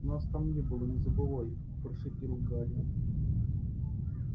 нас там не было не забывай прошипел гарри